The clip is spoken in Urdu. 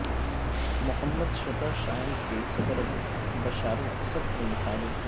محمد شطح شام کے صدر بشارالاسد کے مخالف تھے